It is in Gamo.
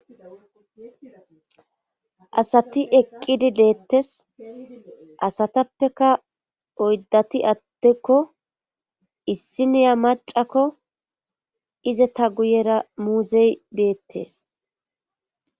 asati eqqidi deettes asatappeka oyddati attekko issi niya macakko iza ta guyera muuzey beettees